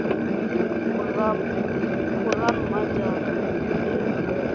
go rammo ara le le